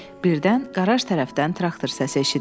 Birdən qaraj tərəfdən traktor səsi eşidildi.